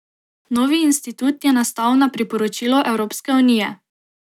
Novi institut je nastal na priporočilo Evropske unije.